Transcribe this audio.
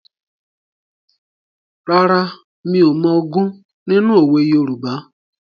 Rárá, mi ò mọ ogún nínú òwe Yorùbá.